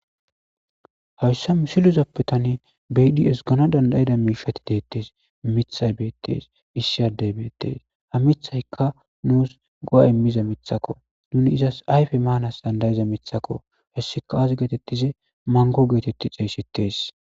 Hayssa mishiluzappetane baidi esgano dandayida miishati deettees mithay beettees issiyadey beettees ha mithaykka nuus go7ay miza mithako nuni izas ayfe maanas dandayiza mithako hessika aasi geetettize mango geetetti ceeyssittees